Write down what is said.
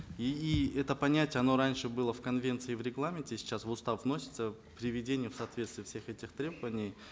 и и это понятие оно раньше было в конвенции в регламенте сейчас в устав вносится приведение в соответствие всех этих требований